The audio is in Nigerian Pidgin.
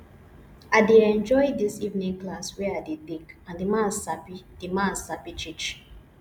i dey enjoy dis evening class wey i dey take and the man sabi the man sabi teach